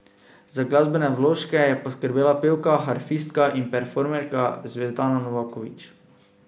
Za glasbene vložke je poskrbela pevka, harfistka in performerka Zvezdana Novaković.